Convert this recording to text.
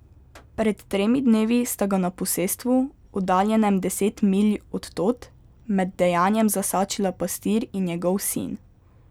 Pred tremi dnevi sta ga na posestvu, oddaljenem deset milj od tod, med dejanjem zasačila pastir in njegov sin.